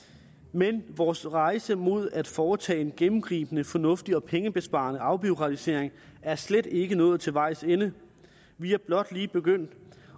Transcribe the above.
men vores rejse mod at foretage en gennemgribende fornuftig og pengebesparende afbureaukratisering er slet ikke nået til vejs ende vi er blot lige begyndt